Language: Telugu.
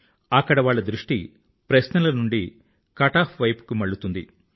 అక్కడ వాళ్ల దృష్టి ప్రశ్నల నుండి కట్ ఆఫ్ వైపుకి మళ్ళుతుంది